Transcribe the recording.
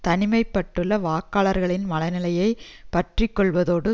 தனிமை பட்டுள்ள வாக்காளர்களின் மன நிலையை பற்றிக்கொள்வதோடு